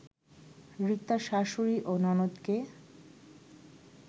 রিক্তার শাশুড়ি ও ননদকে